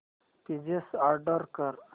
pizza order कर